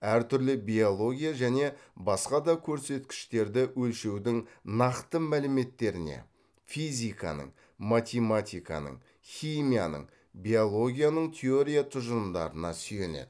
әр түрлі биология және басқа да көрсеткіштерді өлшеудің нақты мәліметтеріне физиканың математиканың химияның биологияның теория тұжырымдарына сүйенеді